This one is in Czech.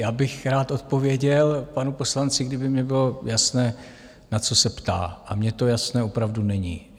Já bych rád odpověděl panu poslanci, kdyby mně bylo jasné, na co se ptá, a mně to jasné opravdu není.